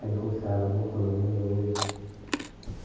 alikhusaba mukhono mwewe .